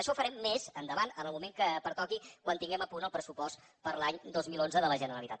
això ho farem més endavant en el moment que pertoqui quan tinguem a punt el pressupost per a l’any dos mil onze de la generalitat